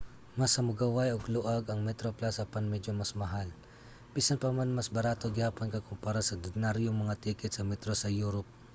mas hamugaway ug luag ang metroplus apan medyo mas mahal bisan pa man mas barato gihapon kompara sa ordinaryo nga mga ticket sa metro sa europe